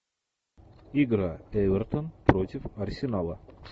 игра эвертон против арсенала